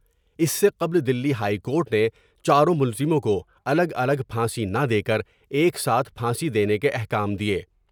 اس سے قبل Delhi high court نے چاروں ملزموں کو الگ الگ پھانسی نہ دیکر ایک ساتھ پھانسی دینے کے احکام دۓ ۔